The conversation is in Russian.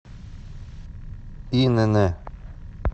инн